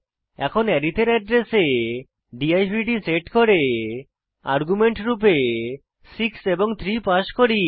এখন আরিথ এর অ্যাড্রেসে দিবদ সেট করে আর্গুমেন্ট রূপে 6 এবং 3 পাস করি